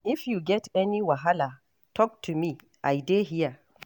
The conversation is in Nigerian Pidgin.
If you get any wahala, talk to me, I dey here.